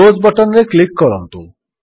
close button ରେ click କରନ୍ତୁ